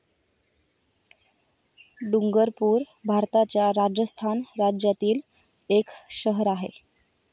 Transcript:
डुंगरपूर भारताच्या राजस्थान राज्यातील एक शहर आहे.